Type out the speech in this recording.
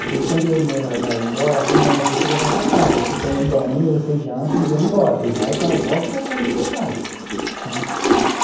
Aí quando deu no horário dela ir embora, ela falou, então eu vou te levar para casa, aí você toma um banho, você janta e vem embora, e vai para volta para a casa do seu pai né.